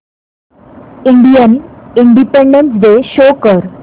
Indian independence day show कर